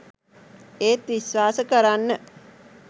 ඒත් විශ්වාස කරන්න